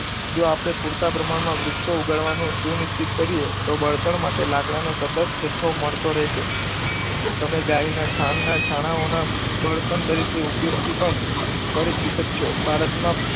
જો આપણે પૂરતા પ્રમાણમાં વૃક્ષો ઉગાડવાનું સુનિશ્ચિત કરીએ. તો વર્તન માટે લાકડાનો સતત જથ્થો મળતો રહેશે. તમે ગાયના છાણ ના છાણાંઓના બળતણ તરીકે ઉપયોગથી પણ પરિચિત જ છો. ભારતમાં,